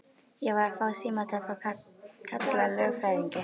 Ég var að fá símtal frá Kalla lögfræðingi.